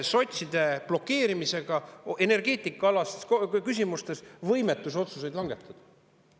–, sotside blokeerimise tõttu energeetikaalastes küsimustes otsuseid langetada.